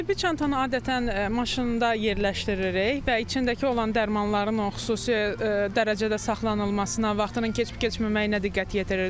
Tibbi çantanı adətən maşında yerləşdiririk və içindəki olan dərmanların o xüsusi dərəcədə saxlanılmasına, vaxtının keçib keçməməyinə diqqət yetiririk.